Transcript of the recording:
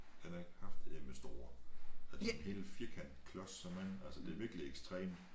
Den er kraftedeme stor og det en helt firkantet klods såmænd altså det virkelig ekstremt